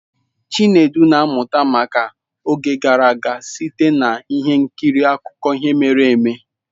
Chinedu na-amụta maka oge gara aga site na ihe nkiri akụkọ ihe mere eme.